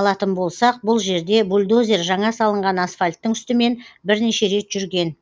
алатын болсақ бұл жерде бульдозер жаңа салынған асфальттің үстімен бірнеше рет жүрген